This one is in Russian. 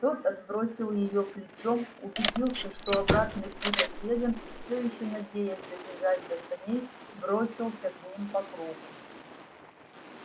тот отбросил её плечом убедился что обратный путь отрезан и все ещё надеясь добежать до саней бросился к ним по кругу